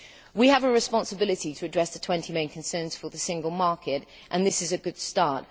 We have a responsibility to address the 20 main concerns in relation to the single market, and this is a good start.